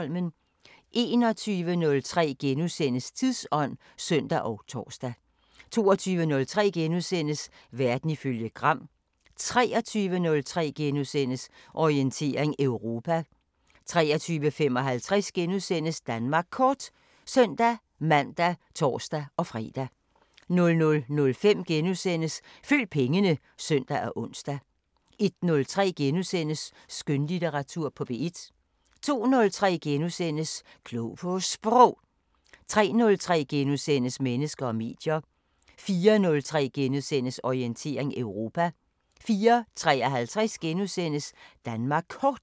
21:03: Tidsånd *(søn og tor) 22:03: Verden ifølge Gram * 23:03: Orientering Europa * 23:55: Danmark Kort *(søn-man og tor-fre) 00:05: Følg pengene *(søn og ons) 01:03: Skønlitteratur på P1 * 02:03: Klog på Sprog * 03:03: Mennesker og medier * 04:03: Orientering Europa * 04:53: Danmark Kort *